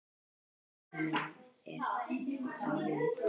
Elsku pabbi minn er dáinn.